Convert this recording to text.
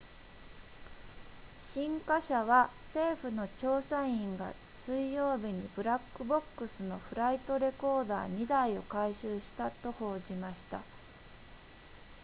新華社は政府の調査員が水曜日にブラックボックスのフライトレコーダー2台を回収したと報じました